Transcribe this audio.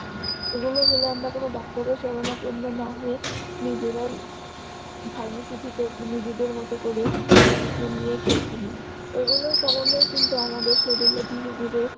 এগুলো হলে আমরা কোন ডাক্তারের শরণাপন্ন না হয়ে, নিজেরাই pharmacy থেকে নিজেদের মতো করে medicine নিয়ে খেয়ে ফেলি এগুলোর কারণে কিন্তু আমাদের শরীররে ধীরে ধীরে